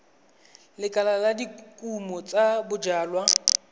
lekala la dikumo tsa bojalwa